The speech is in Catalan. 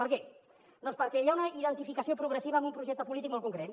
per què doncs perquè hi ha una identificació progressiva amb un projecte polític molt concret